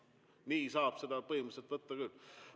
Nii saab seda põhimõtteliselt teha küll.